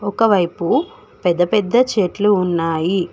ఒక వైపు పెద్ద పెద్ద చెట్లు ఉన్నాయి.